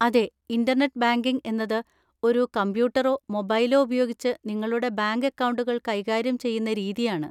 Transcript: അതെ, internet banking എന്നത് ഒരു കമ്പ്യൂട്ടറോ മൊബൈലോ ഉപയോഗിച്ച് നിങ്ങളുടെ ബാങ്ക് അക്കൗണ്ടുകൾ കൈകാര്യം ചെയ്യുന്ന രീതിയാണ്.